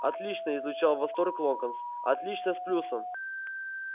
отлично излучал восторг локонс отлично с плюсом